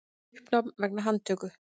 Uppnám vegna handtöku